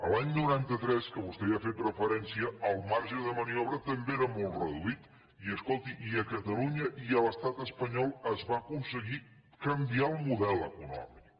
l’any noranta tres que vostè hi ha fet referència el marge de maniobra també era molt reduït i escolti i a catalunya i a l’estat espanyol es va aconseguir canviar el model econòmic